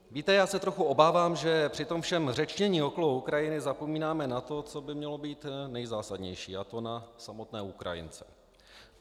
Víte, já se trochu obávám, že při tom všem řečnění okolo Ukrajiny zapomínáme na to, co by mělo být nejzásadnější, a to na samotné Ukrajince.